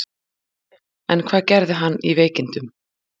En hvað gerði hann í veikindunum?